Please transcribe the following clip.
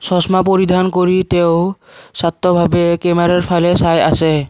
চচমা পৰিধান কৰি তেওঁ চট্টভাৱে কেমেৰাৰ ফালে চাই আছে।